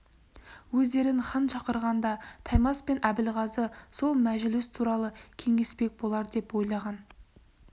өздерін хан шақырғанда таймас пен әбілғазы сол мәжіліс туралы кеңеспек болар деп ойлаған